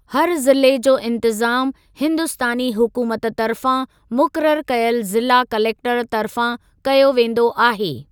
हर ज़िले जो इंतज़ामु हिंदुस्तानी हुकूमत तर्फ़ां मुक़ररु कयल ज़िला कलेक्टरु तर्फ़ां कयो वेंदो आहे।